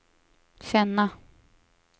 känna